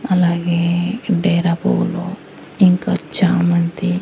అలాగే డేరా పూవులు ఇంకా చామంతి--